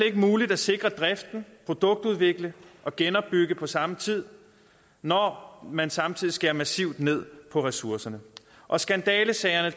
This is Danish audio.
ikke muligt at sikre driften produktudvikle og genopbygge på samme tid når man samtidig skærer massivt ned på ressourcerne og skandalesager